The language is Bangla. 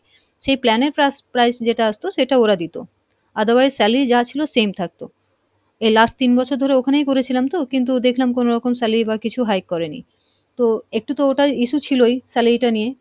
সেই plan এর price যেটা আসতো সেটা ওরা দিত, otherwise salary যা ছিলো same থাকতো এ last তিন বছর ধরে ওখানেই করেছিলাম তো কিন্তু দেখলাম কোনো রকম salary বা কিছু high করেনি তো একটু তো ওটার issue ছিলোই salary টা নিয়ে,